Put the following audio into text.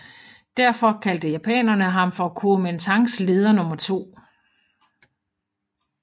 Derfor kaldte japanerne ham for Kuomintangs leder nr 2